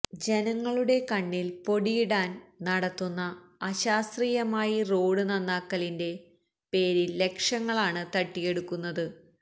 ജനങ്ങളുടെ കണ്ണില് പൊടിയിടാന് നടത്തുന്ന അശാസ്ത്രീയമായി റോഡ് നന്നാക്കലിന്റെ പേരില് ലക്ഷങ്ങളാണ് തട്ടിയെടുക്കുന്നത്